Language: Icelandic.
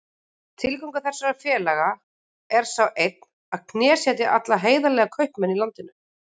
Tilgangur þessara félaga er sá einn að knésetja alla heiðarlega kaupmenn í landinu.